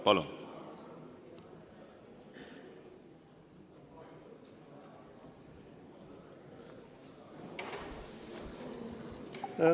Palun!